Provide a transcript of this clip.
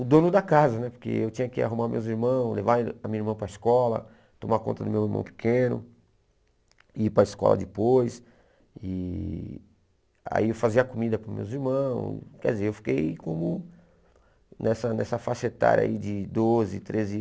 o dono da casa né, porque eu tinha que arrumar meus irmãos, levar a minha irmã para a escola, tomar conta do meu irmão pequeno, ir para a escola depois, e aí eu fazia comida para meus irmãos, quer dizer, eu fiquei como nessa nessa faixa etária aí de doze, treze